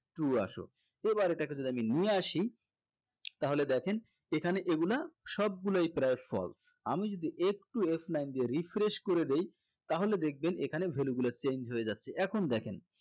true আসো এবার এটাকে যদি আমি নিয়ে আসি তাহলে দেখেন এখানে এগুলা সবগুলাই প্রায় false আমি যদি একটু F nine দিয়ে refresh করে দেই তাহলে দেখবেন এখানে value গুলো change হয়ে যাচ্ছে এখন দেখেন